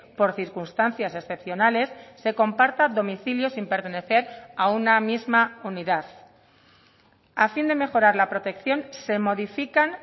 por circunstancias excepcionales se comparta domicilio sin pertenecer a una misma unidad a fin de mejorar la protección se modifican